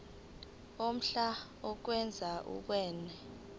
omhlali okwazi ukwenza